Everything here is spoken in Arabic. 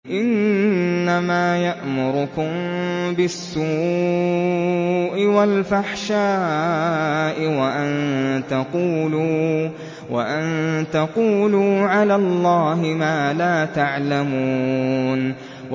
إِنَّمَا يَأْمُرُكُم بِالسُّوءِ وَالْفَحْشَاءِ وَأَن تَقُولُوا عَلَى اللَّهِ مَا لَا تَعْلَمُونَ